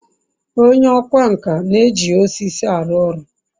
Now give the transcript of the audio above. onye okwá nkà na-eji osisi aru oru